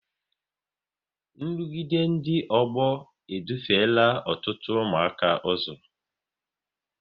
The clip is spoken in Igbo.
nrụgide ndị ọgbọ e dufela ọtụtụ ụmụaka ụzọ